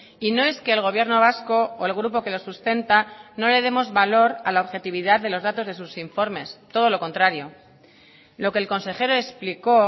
y no es que el gobierno vasco o el grupo que lo sustenta no le demos valor a la objetividad de los datos de sus informes todo lo contrario lo que el consejero explicó